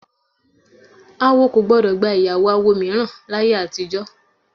Awo kò gbọ́dọ̀ gba ìyàwó awo mìíràn láyé àtijọ́